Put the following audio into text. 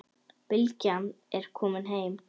Bylgja er komin heim.